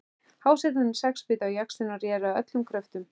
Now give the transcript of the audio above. Hásetarnir sex bitu á jaxlinn og réru af öllum kröftum.